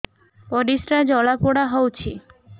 ପରିସ୍ରା ଜଳାପୋଡା ହଉଛି